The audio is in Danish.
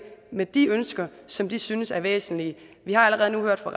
med de ønsker som de synes er væsentlige vi har allerede nu hørt fra